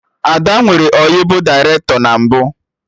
Ada nwere ọyị bụ dairetọ na mbụ